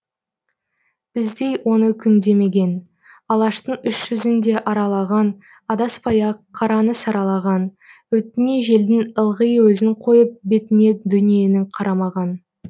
біздей оны күндемеген алаштың үш жүзін де аралаған адаспай ақ қараны саралаған өтіне желдің ылғи өзін қойып бетіне дүниенің қарамаған